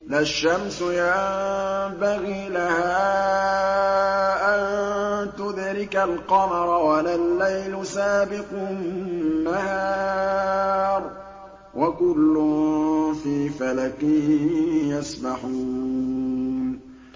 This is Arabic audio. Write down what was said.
لَا الشَّمْسُ يَنبَغِي لَهَا أَن تُدْرِكَ الْقَمَرَ وَلَا اللَّيْلُ سَابِقُ النَّهَارِ ۚ وَكُلٌّ فِي فَلَكٍ يَسْبَحُونَ